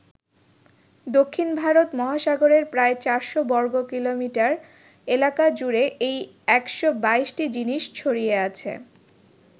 দক্ষিণ ভারত মহাসাগরের প্রায় চারশো বর্গকিলোমিটার এলাকা জুড়ে এই ১২২টি জিনিস ছড়িয়ে আছে।